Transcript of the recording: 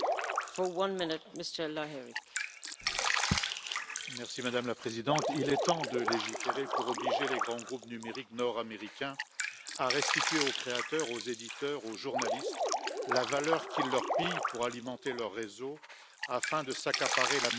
Madame la Présidente, il est temps de légiférer pour obliger les grands groupes numériques nord américains à restituer aux créateurs, aux éditeurs et aux journalistes la valeur qu'ils leur pillent pour alimenter leurs réseaux afin de s'accaparer la manne publicitaire qu'ils enlèvent du même coup aux médias et à la presse.